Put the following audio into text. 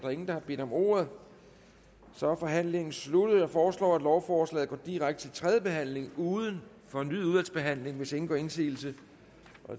er ingen der har bedt om ordet så er forhandlingen sluttet jeg foreslår at lovforslaget går direkte til tredje behandling uden fornyet udvalgsbehandling hvis ingen gør indsigelse